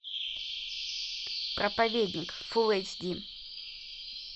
проповедник фулл эйч ди